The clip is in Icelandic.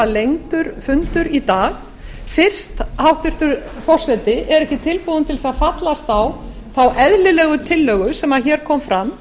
lengdur fundur í dag fyrst hæstvirtur forseti er ekki tilbúinn til að fallast á þá eðlilegu tillögu sem hér kom fram